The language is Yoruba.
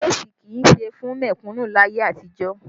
Léèsì kì í ṣe fún mẹ̀kùnnú láyé àtijọ́